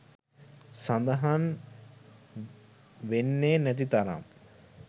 සදහන් වෙන්නේ නැති තරම්.